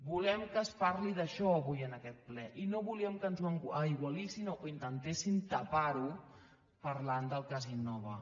volem que es parli d’això avui en aquest ple i no volíem que ens ho aigualissin o que intentessin tapar ho parlant del cas innova